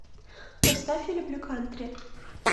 поставь я люблю кантри